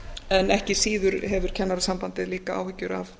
en ekki síður hefur kennarasambandið líka áhyggjur af